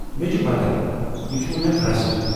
مےٚ چھ پتہ، یہِ چھٗ وونہِ اکھ رسم ۔